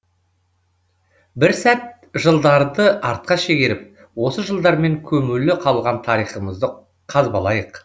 бір сәт жылдарды артқа шегеріп осы жылдармен көмулі қалған тарихымызды қазбалайық